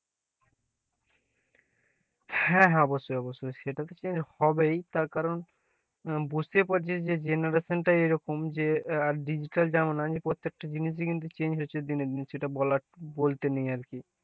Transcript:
হ্যাঁ হ্যাঁ অবশ্যই, অবশ্যই সেটা তো change হবেই তার কারণ বুঝতেই পারছিস যে generation টা এরকম যে digital জামানা যে প্রত্যেকটা জিনিসই কিন্তু change হয়েছে দিনের দিন সেটা বলার, বলতে নেই আর কি,